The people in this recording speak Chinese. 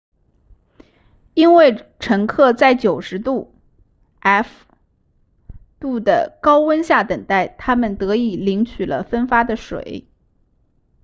因为乘客在90度 f 度的高温下等待他们得以领取了分发的水